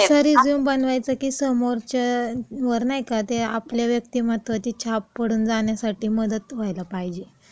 असं रिझ्यूम बनवायचं की समोरच्यावर नाही का, ते आपल्या व्यक्तिमत्वाची छाप पडून जाण्यासाठी मदत व्हायला पाहिजे.